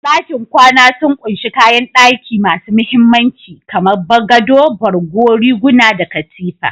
Dakin kwana sun ƙunshi kayan daki masu mahimmanci, kamar gado, borgo, riguna, da Katifa.